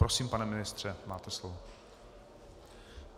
Prosím, pane ministře, máte slovo.